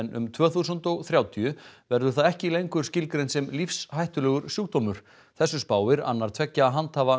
um tvö þúsund og þrjátíu verður það ekki lengur lífshættulegur sjúkdómur þessu spáir annar tveggja handhafa